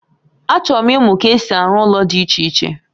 Achọrọ m imụ ka esi a ru ụlọ di iche iche